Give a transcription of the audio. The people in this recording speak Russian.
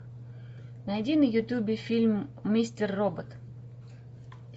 найди на ютубе фильм мистер робот